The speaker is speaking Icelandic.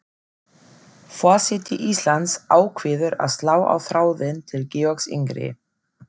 Forseti Íslands ákveður að slá á þráðinn til Georgs yngri.